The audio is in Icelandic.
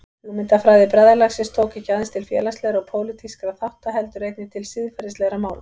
Hugmyndafræði bræðralagsins tók ekki aðeins til félagslegra og pólitískra þátta heldur einnig til siðferðislegra mála.